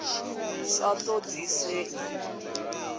sa ṱo ḓi a ṱo